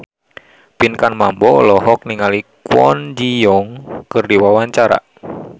Pinkan Mambo olohok ningali Kwon Ji Yong keur diwawancara